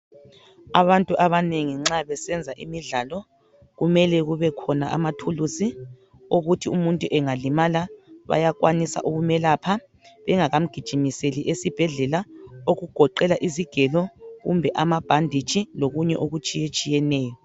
Abantu abanengi nxa besebenza imidlalo kumele kubekhona amathuluzi okuthi umuntu engalimala bayakwanisa ukumelapha bengakamgijimiseli esibhedlela okugoqela izigelo kumbe amabhanditshi lokunye okutshiyeneyo.